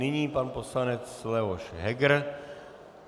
Nyní pan poslanec Leoš Heger.